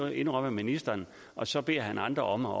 indrømmer ministeren og så beder han andre om at